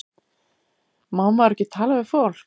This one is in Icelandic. Má maður ekki tala við fólk?